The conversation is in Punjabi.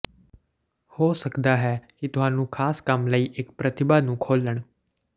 ਹੋ ਸਕਦਾ ਹੈ ਕਿ ਤੁਹਾਨੂੰ ਖਾਸ ਕੰਮ ਲਈ ਇੱਕ ਪ੍ਰਤਿਭਾ ਨੂੰ ਖੋਲ੍ਹਣ